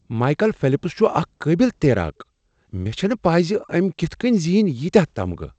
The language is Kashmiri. مائیکل فیلپس چھ اکھ قٲبل تیراک۔ مےٚ چھنہٕ پَے ز أمۍ کتھ کٔنۍ زیٖنۍ ییتِیاہ تمغہٕ!